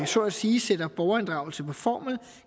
så at sige sætter borgerinddragelse på formel